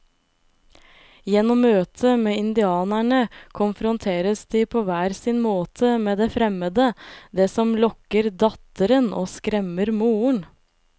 Gjennom møtet med indianerne konfronteres de på hver sin måte med det fremmede, det som lokker datteren og skremmer moren.